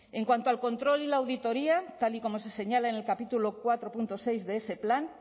en cuanto al control y la auditoría tal y como se señala en el capítulo cuatro punto seis de ese plan